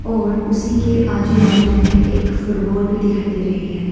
और उसी के आजू बाजू में एक फुटबॉल भी दिखाई दे रही है।